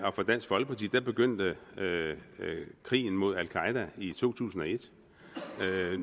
og for dansk folkeparti begyndte krigen mod al qaeda i to tusind og et